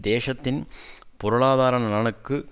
தேசத்தின் பொருளாதார நலனுக்கு